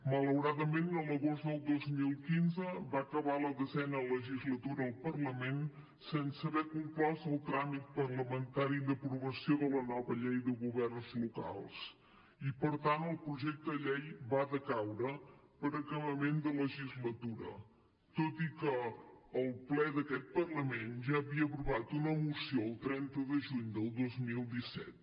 malauradament l’agost del dos mil quinze va acabar la desena legislatura al parlament sense haver conclòs el tràmit parlamentari d’aprovació de la nova llei de governs locals i per tant el projecte de llei va decaure per acabament de legislatura tot i que el ple d’aquest parlament ja havia aprovat una moció el trenta de juny del dos mil disset